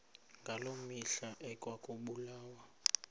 ngaloo mihla ekwakubulawa